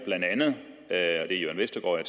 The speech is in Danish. er jørn vestergaard